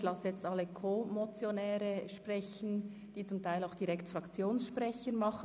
Ich lasse jetzt alle CoMotionäre sprechen, die zum Teil zugleich Fraktionssprecher sind.